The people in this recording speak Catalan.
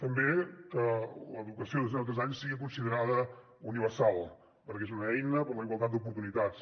també que l’educació de zero a tres anys sigui considerada universal perquè és una eina per a la igualtat d’oportunitats